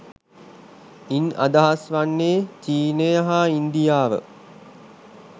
ඉන් අදහස් වන්නේ චීනය හා ඉන්දියාව